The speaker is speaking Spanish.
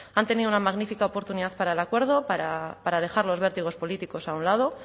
han tenido una magnífica oportunidad para el acuerdo para dejar los vértigos políticos a un lado